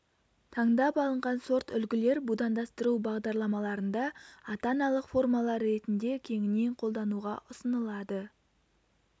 таңдап алынған сорт үлгілер будандастыру бағдарламаларында ата-аналық формалар ретінде кеңінен қолдануға ұсынылады